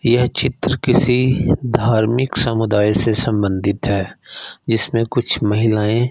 यह चित्र किसी धार्मिक समुदाय से संबंधित है जिसमें कुछ महिलाएं--